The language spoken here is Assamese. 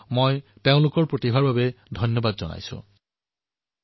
মই আপোনালোক সকলোৰে পৰা আগ্ৰহ কৰিম যে আপোনালোকে যাতে এই কাৰ্যসূচী স্থানীয় ভাষাতো শুনে